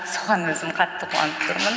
соған өзім қатты қуанып тұрмын